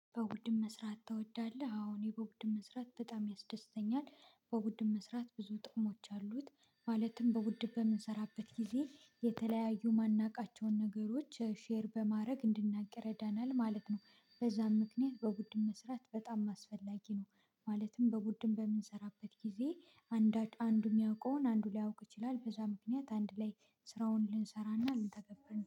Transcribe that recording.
በውድም መስራት ትወዳለህ? አሁን በውድም መስራት በጣም ያስደስተኛል በውድም መስራት ብዙ ጥቅሞች አሉት። ማለትም በውድ በምንሰራበት ጊዜ የተለያዩ ማናውቃቸውን ነገሮች ሼር በማድረግ እንድንናገር ይረዳናል ማለት ነው። በዛም ምክንያት በቡድን መስራት በጣም አስፈላጊ ነው። ማለትም በቡድን በምንሰራበት ጊዜ አንዱ የሚያውቀውን አንዱ ሊያውቅ ይችላል በዛ ምክንያት አንድ ላይ ስራውን ልንሰራና ልንተገብር